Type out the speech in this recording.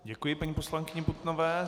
Děkuji paní poslankyni Putnové.